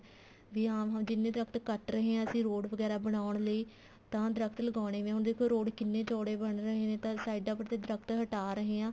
ਵੀ ਹਾਂ ਹਾਂ ਜਿੰਨੇ ਦਰਖਤ ਕੱਟ ਰਹੇ ਹਾਂ ਅਸੀਂ road ਵਗੈਰਾ ਬਣਾਉਣ ਲਈ ਤਾਂ ਦਰਖਤ ਲਗਾਉਣੇ ਵੀ ਤਾਂ ਹੁਣ ਦੇਖੋ road ਕਿੰਨੇ ਚੋੜੇ ਬਣ ਰਹੇ ਨੇ ਤਾਂ ਸਾਈਡਾ ਪਰ ਤੇ ਦਰਖਤ ਹਟਾ ਰਹੇ ਹਾਂ